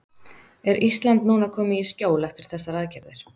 Er Ísland núna komið í skjól eftir þessar aðgerðir?